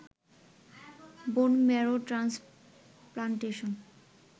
বোন marrow transplantation